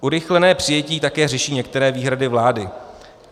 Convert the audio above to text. Urychlené přijetí také řeší některé výhrady vlády.